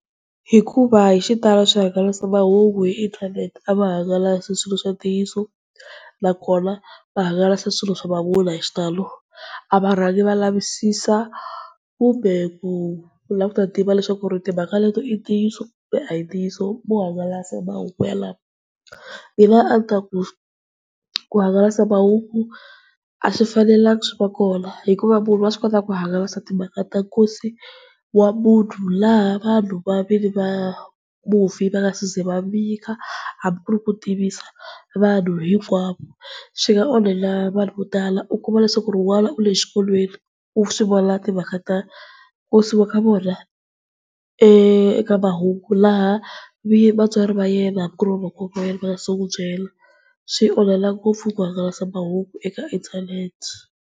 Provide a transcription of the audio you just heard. Hikuva hi xitalo swihangalasamahungu hi inthanete a va hangalasi a swilo swa ntiyiso, na kona va hangalasa swilo swa mavunwa hi xitalo, a varhangi va lavisisa kumbe ku la ku ta tiva leswaku ri timhaka leti i ta ntiyiso kumbe a hi ntiyiso, vo hangalasa mahungu malamo. Mina a ni ta ku ku hangalasa mahungu a swi fanelangi swi va kona hikuva munhu wa swi kota ku hangalasa timhaka ta nkosi wa munhu, laha vanhu va nwini wa mufi va nga se ze va vika hambi ku ri ku tivisa vanhu hinkwavo. Swi nga onhela vanhu vo tala u kuma leswaku ri n'wana u le xikolweni, u swivona timhaka ta nkosi wa ka vona eka mahungu, laha va vatswari va yena hambi ku ri vamakwerhu wa yena a va nga se nwi byela. Swi onhela ngopfu ku hangalasa mahungu eka internet.